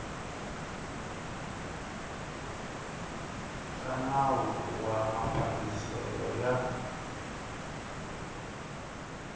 swa nawu wa mafambiselo ya